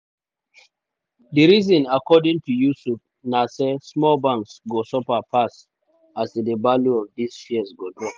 di reasons according to yusuf na say small banks go suffer pass as di value of dia shares go drop.